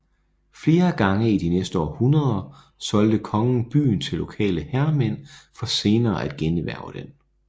Flere gange i de næste århundreder solgte kongen byen til lokale herremænd for senere at generhverve den